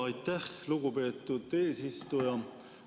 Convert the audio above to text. Aitäh, lugupeetud eesistuja!